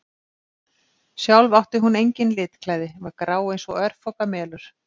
Sjálf átti hún engin litklæði, var grá eins og örfoka melur.